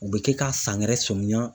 U bɛ kɛ ka san wɛrɛ sɔmiyan